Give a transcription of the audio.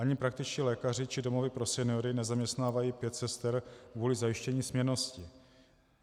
Ani praktičtí lékaři či domovy pro seniory nezaměstnávají pět sester kvůli zajištění směnnosti.